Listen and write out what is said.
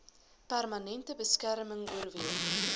permanente beskerming oorweeg